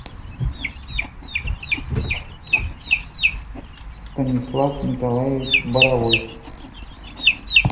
станислав николаевич боровой